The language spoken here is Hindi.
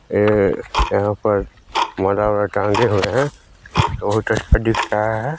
ए यहाँ पर माला वाला टांगे हुए है बहुत अच्छा दिख रहा है।